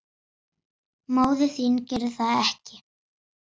Móðir þín gerir það ekki.